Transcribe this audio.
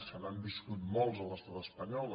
se n’han viscut molts a l’estat espanyol